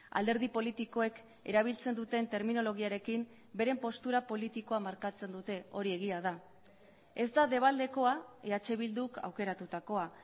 alderdi politikoek erabiltzen duten terminologiarekin beren postura politikoa markatzen dute hori egia da ez da debaldekoa eh bilduk aukeratutakoa